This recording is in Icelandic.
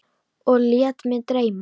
Og lét mig dreyma.